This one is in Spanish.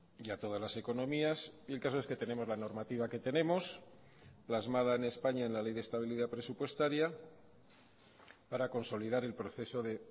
y a todas las economías y el caso es que tenemos la normativa que tenemos plasmada en españa en la ley de estabilidad presupuestaria para consolidar el proceso de